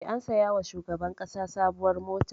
E, an saya wa shugaban ƙasa sabuwar mota.